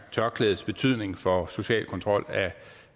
tørklædets betydning for social kontrol